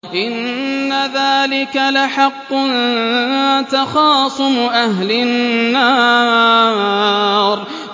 إِنَّ ذَٰلِكَ لَحَقٌّ تَخَاصُمُ أَهْلِ النَّارِ